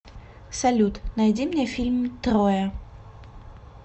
салют найди мне фильм троя